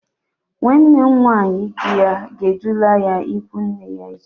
Nwanne nwaanyi di ya ga-edula ya ịkwụ nne ya echi.